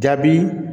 Jaabi